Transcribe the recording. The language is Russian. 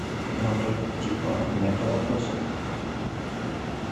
но тут типа нету запросов